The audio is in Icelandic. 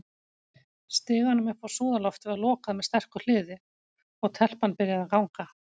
Stiganum upp á súðarloftið var lokað með sterku hliði, og- telpan byrjaði að ganga.